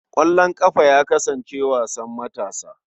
Ƙwallon ƙafa ya kasance wasan matasa.